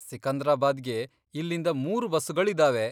ಸಿಕಂದ್ರಾಬಾದ್ಗೆ ಇಲ್ಲಿಂದ ಮೂರು ಬಸ್ಸುಗಳಿದಾವೆ.